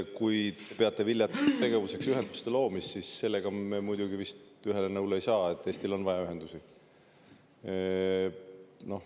Kui te peate viljatuks tegevuseks ühenduste loomist, siis sellega me muidugi vist ühele nõule ei saa, sest Eestil on vaja ühendusi.